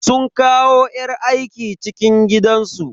Sun kawo yar aiki cikin gidansu.